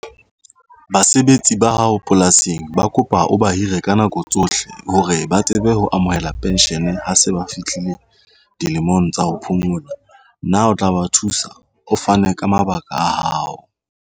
Basebetsi ba hao polasing ba kopa o ba hire ka nako tsohle hore ba tsebe ho amohela pension ha se ba fihlile dilemong tsa ho phomola. Na o tla ba thusa o fane ka mabaka a hao?